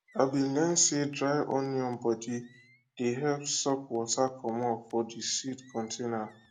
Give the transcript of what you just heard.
i bin learn say dry onion body dey help suck water comot for de seed container